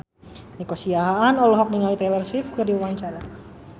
Nico Siahaan olohok ningali Taylor Swift keur diwawancara